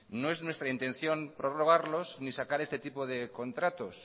no es nuestra intención prorrogarlos ni sacar este tipo de contratos